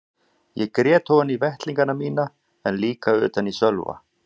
Ég grét ofan í vettlingana mína en líka utan í Sölva.